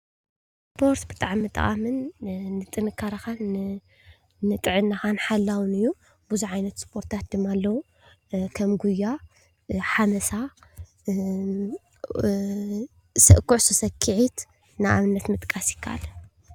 ስፖርት ብጣዕሚ ጠቓምን ንጥንካረኻን ንጥዕናኻን ሓላውን እዩ፡፡ ብዙሕ ዓይነት ስፖርትታት ድማ ኣለው፡፡ ከም ጉያ ፣ሓመሳ፣ ኩዕሶ ሰኪዔት ንኣብነት ምጥቃስ ይካኣል፡፡